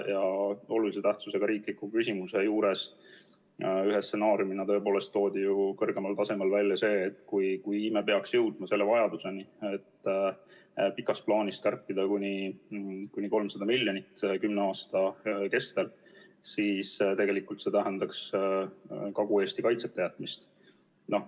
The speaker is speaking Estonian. Olulise tähtsusega riikliku küsimuse juures toodi ühe stsenaariumina tõepoolest ju kõrgemal tasemel välja see, et kui me peaks jõudma selle vajaduseni, et pikas plaanis kärpida kuni 300 miljonit kümne aasta kestel, siis tegelikult tähendaks see Kagu-Eesti kaitseta jätmist.